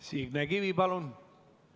Signe Kivi, palun!